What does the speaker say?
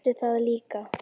Ég vissi það líka.